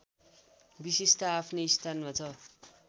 विशेषता आफ्नै स्थानमा छ